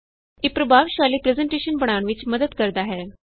ਇਹ ਪ੍ਰਭਾਵਸ਼ਾਲੀ ਪਰੈੱਜ਼ਨਟੇਸ਼ਨ ਬਣਾਨ ਵਿਚ ਮਦਦ ਕਰਦਾ ਹੈ